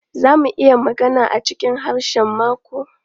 Za mu iya magana a cikin karshen mako?